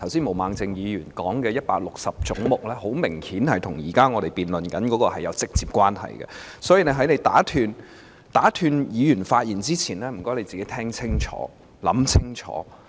毛孟靜議員剛才談論的總目 160， 明顯與我們目前的辯論議題有直接關係，所以在你打斷議員發言前，麻煩你聽清楚、想清楚。